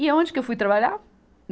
E onde que eu fui trabalhar?